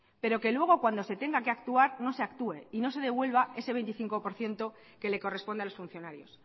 pero luego que cuando se tenga que actuar no se actúe y no se devuelva ese veinticinco por ciento que le corresponde a los funcionarios